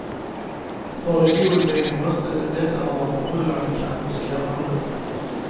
För den oinvigde måste det vara förbryllande, kanske skrämmande.